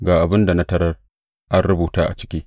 Ga abin da na tarar an rubuta a ciki.